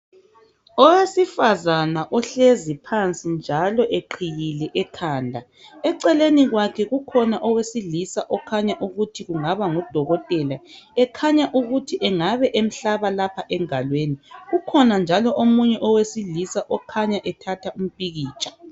Owesifazane ohlezi phansi njalo eqhiyile ekhanda eceleni kwakhe kukhona owesilisa okhanya ukuthi engabangudokotela ekhanya ukuthi engabe emhlaba lapha engalweni ukhona njalo omunye owesilisa okhanya ethatha picture.